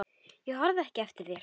Ég horfi ekki eftir þér.